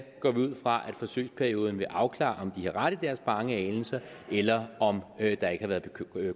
går vi ud fra at forsøgsperioden vil afklare om de gør ret i have bange anelser eller om der ikke har været